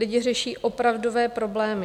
Lidi řeší opravdové problémy.